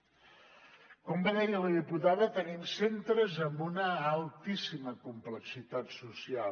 com bé deia la diputada tenim centres amb una altíssima complexitat social